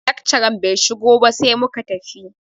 Lakcaran bai shigo ba sai muka tafi.